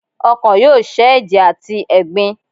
Ọ́kan yóò sẹ́ eje atí ẹgbín